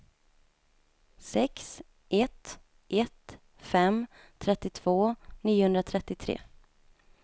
sex ett ett fem trettiotvå niohundratrettiotre